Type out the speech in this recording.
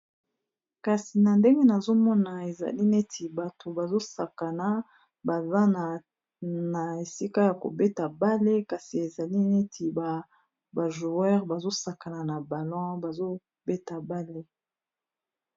kasi na ndenge nazomona ezali neti bato bazosakana bazana esika ya kobeta bale kasi ezali neti ba bajoueur bazosakana na balon bazobeta ndembo yamakolo